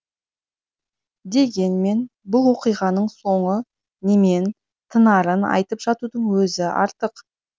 дегенмен бұл оқиғаның соңы немен тынарын айтып жатудың өзі артық